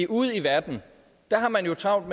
ude i verden har man travlt